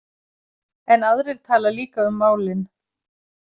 En aðrir tala líka um málin.